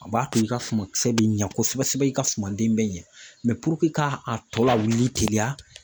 A b'a to i ka suma kisɛ bɛ ɲɛ kosɛbɛ kosɛbɛ i ka suma den bɛ ɲɛ mɛ ka a tɔ lawulili teliya